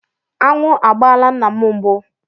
Aṅụ agbaala nna m mbụ.